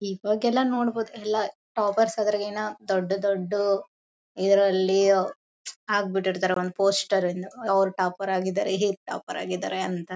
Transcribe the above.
ಇವಾಗೆಲ್ಲ ನೋಡಬೋದು ಎಲ್ಲ ಟಾಪ್ಪರ್ಸ್ ಗಿನ ದೊಡ್ಡ ದೊಡ್ಡ ಇದರಲ್ಲಿ ಹಾಕ್ ಬಿಟ್ಟಿರ್ತಾರೆ ಒಂದು ಪೋಸ್ಟರ್ ನ್ನ ಅವ್ರು ಟಾಪ್ಪರ್ ಆಗಿದ್ದರೆ ಇವ್ರು ಟಾಪ್ಪರ್ ಆಗಿದ್ದರೆ ಅಂತ.